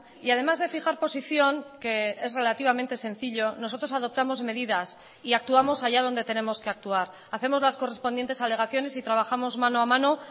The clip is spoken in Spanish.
y además de fijar posición que es relativamente sencillo nosotros adoptamos medidas y actuamos allá dónde tenemos que actuar hacemos las correspondientes alegaciones y trabajamos mano a mano